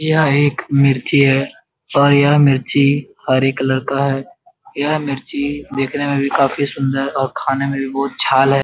यह एक मिर्ची है और यह मिर्ची हरे कलर का है यह मिर्ची देखने में भी काफी सुन्दर और खाने में भी बहुत अच्छा है ।